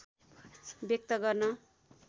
व्यक्त गर्न